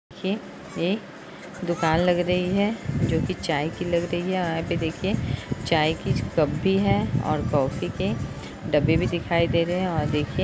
ये एक दुकान लग रही है जोकि चाय की लग रही है। यहाँ पे देखिये चाय की कप भी है और कॉफ़ी के डब्बे भी दिखाई दे रहे हैं और देखिये --